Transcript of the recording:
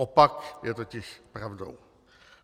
Opak je totiž pravdou.